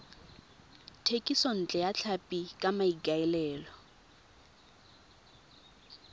thekisontle ya tlhapi ka maikaelelo